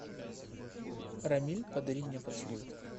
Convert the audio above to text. рамиль подари мне поцелуй